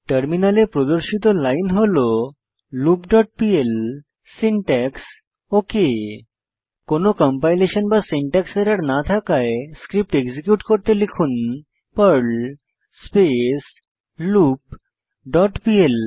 টার্মিনালে প্রদর্শিত লাইন হল loop dot PL syntax okay কোনো কম্পাইলেশন বা সিনট্যাক্স এরর না থাকায় এখন স্ক্রিপ্ট এক্সিকিউট করতে লিখুন Perl space loop dot PL